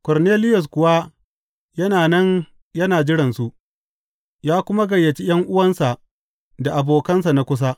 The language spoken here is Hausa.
Korneliyus kuwa yana nan yana jiransu, ya kuma gayyaci ’yan’uwansa da abokansa na kusa.